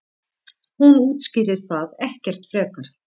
Hún útskýrir það ekkert frekar.